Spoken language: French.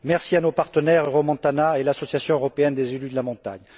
Merci à nos partenaires Euromontana et à l'Association européenne des élus de la montagne.